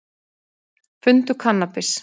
Fundu kannabis